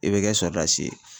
I bɛ kɛ sɔrasi ye.